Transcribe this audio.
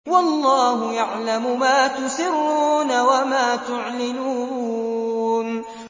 وَاللَّهُ يَعْلَمُ مَا تُسِرُّونَ وَمَا تُعْلِنُونَ